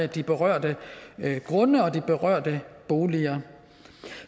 de berørte grunde og de berørte boliger